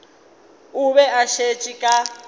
o be a šetše ka